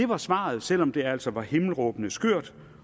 var svaret selv om det altså var himmelråbende skørt